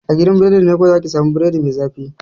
A gidan biredi ne kawai za ki sa mu biredi mai zafi